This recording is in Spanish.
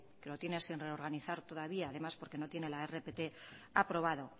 que lo tiene sin reorganizar todavía además porque no tiene la rpt aprobado